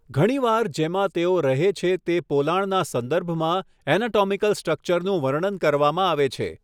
ઘણીવાર જેમાં તેઓ રહે છે તે પોલાણના સંદર્ભમાં એનાટોમિકલ સ્ટ્રક્ચરનું વર્ણન કરવામાં આવે છે.